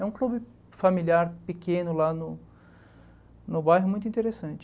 É um clube familiar pequeno lá no no bairro, muito interessante.